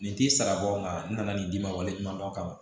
Nin t'i sara bɔ n ka n na na nin d'i ma wale ɲumandɔn kama